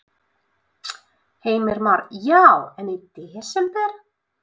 Heimir Már: Já, en í desember?